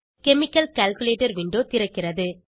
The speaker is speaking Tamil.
கெமிக்கல் கால்குலேட்டர் விண்டோ திறக்கிறது